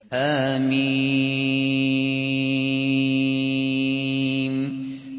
حم